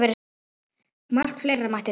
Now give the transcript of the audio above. Margt fleira mætti telja.